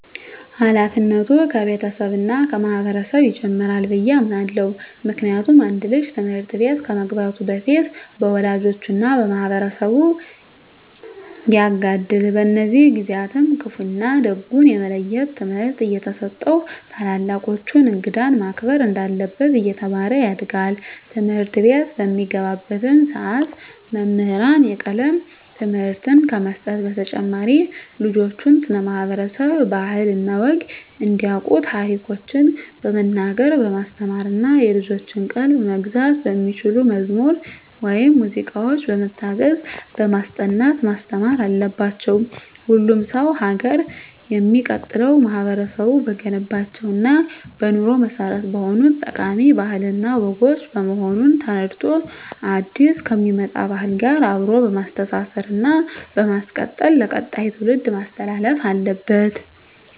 ሀላፊነቱ ከቤተሰብ እና ከማህበረሰብ ይጀምራል ብየ አምናለሁ። ምክንያቱም አንድ ልጅ ትምህርት ቤት ከመግባቱ በፊት በወላጆቹ እና በማህበረሰቡ ያጋድል። በእነዚህ ጊዜአትም ክፋ እና ደጉን የመለየት ትምህርት እየተሰጠው ታላላቆቹን፣ እንግዳን ማክበር እንዳለበት እየተማረ ያድጋል። ትምህርትቤት በሚገባባትም ሰዓት መምህራን የቀለም ትምህርትን ከመስጠት በተጨማሪ ልጆችን ስለ ማህበረሰብ ባህል እና ወግ እንዲያቁ ታሪኮችን በመናገር በማስተማር እና የልጆችን ቀልብ መግዛት በሚችሉ መዝሙር ወይም ሙዚቃዎች በመታገዝ በማስጠናት ማስተማር አለባቸው። ሁሉም ሰው ሀገር የሚቀጥለው ማህበረቡ በገነባቸው እና በኑሮ መሰረት በሆኑት ጠቃሚ ባህል እና ወጎች በመሆኑን ተረድቶ አዲስ ከሚመጣ ባህል ጋር አብሮ በማስተሳሰር እና በማስቀጠል ለቀጣይ ትውልድ ማስተላለፍ አለበት።